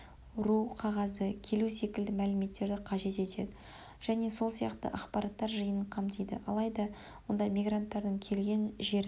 ру қағазы-келу секілді мәліметтерді қажет етеді және сол сияқты ақпараттар жиынын қамтиды алайда онда мигранттардың келген жерін